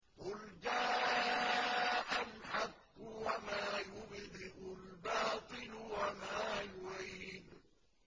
قُلْ جَاءَ الْحَقُّ وَمَا يُبْدِئُ الْبَاطِلُ وَمَا يُعِيدُ